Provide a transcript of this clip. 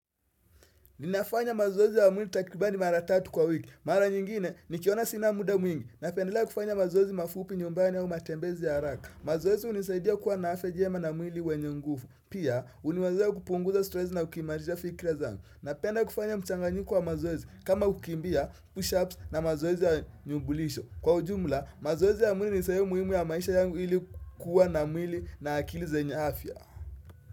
Ninafanya mazoezi ya mwili takribani mara tatu kwa wiki. Mara nyingine, nikiona sina muda mwingi Napendelea kufanya mazoezi mafupi nyumbani au matembezi ya araka. Mazoezi unisaidia kuwa na afya jema na mwili wenye nguvu. Pia, uniwazia kupunguza stress na ukimalija fikra zangu. Napenda kufanya mchanganyiko wa mazoezi kama kukimbia, push ups na mazoezi ya nyumbulisho. Kwa ujumla, mazoezi ya mwili ni saidia kuwa na mwili na akili zenye afya.